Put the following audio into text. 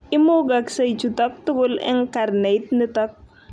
Imugaksei chutok tugul eng karneit nitok.